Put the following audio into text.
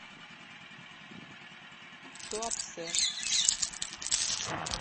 туапсе